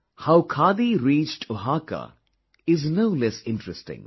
How khadi reached Oaxaca is no less interesting